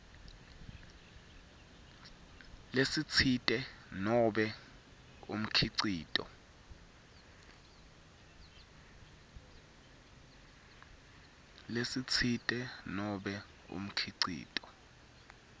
lesitsite nobe umkhicito